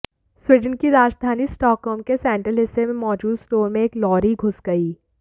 Sweden की राजधानी Stockholm के सेंट्रल हिस्से में मौजूद स्टोर में एक लॉरी घुस गई